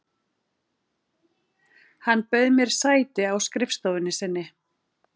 Hann bauð mér sæti á skrifstofunni sinni.